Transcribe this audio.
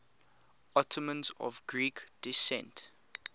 ottomans of greek descent